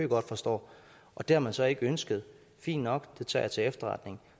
godt forstår og det har man så ikke ønsket fint nok det tager jeg til efterretning